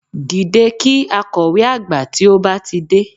Dìde kí àkọ̀wé àgbà tí ó bá ti dé